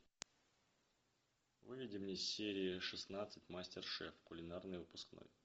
выведи мне серия шестнадцать мастер шеф кулинарный выпускной